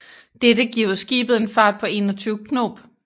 Dette giver skibet en fart på 21 knob